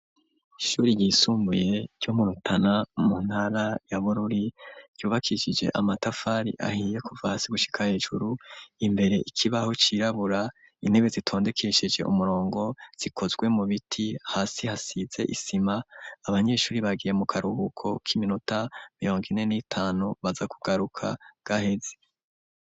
Ishuri yisumbuye ryomu Rutana mu ntara ya bururi ryubakishije amatafari ahiye kuva hasi gushika hejuru. Imbere ikibaho cirabura intebe zitondekeshije umurongo zikozwe mu biti hasi hasize isima. Abanyeshuri bagiye mu karubuko ki minota mirongo ine n'itanu baza kugaruka gaheze.